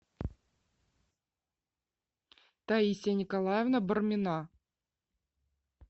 таисия николаевна бармина